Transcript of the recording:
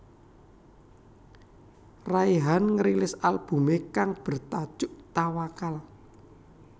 Raihan ngerilis albumé kang bertajuk Tawakkal